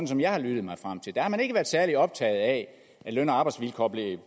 som jeg har lyttet mig frem til der har man ikke været særlig optaget af at løn og arbejdsvilkår blev